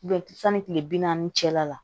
sanni kile bi naani cɛla la